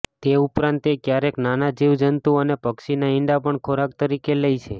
તે ઉપરાંત તે ક્યારેક નાના જીવજંતુ અને પક્ષીનાં ઈંડાં પણ ખોરાક તરીકે લે છે